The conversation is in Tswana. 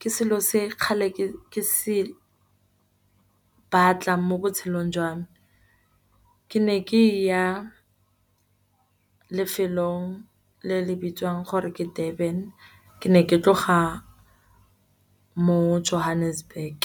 ke selo se kgale ke se batla, mo botshelong jwa me. Ke ne ke ya lefelong le le bitswang gore ke Durban ke ne ke tloga mo Johannesburg.